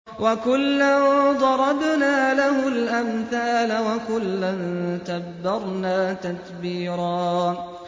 وَكُلًّا ضَرَبْنَا لَهُ الْأَمْثَالَ ۖ وَكُلًّا تَبَّرْنَا تَتْبِيرًا